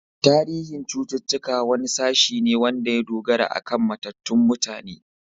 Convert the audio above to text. Tarihin ilimin cuttutuka wani sashe ne wanda ya dogara akan matattun mutane.